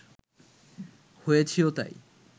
হয়েছিও তাই